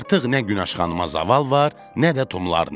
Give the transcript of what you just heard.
Artıq nə Günəş xanıma zaval var, nə də tumlarına.